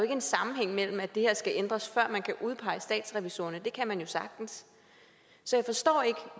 en sammenhæng mellem at det her skal ændres og at man kan udpege statsrevisorerne det kan man jo sagtens så jeg forstår ikke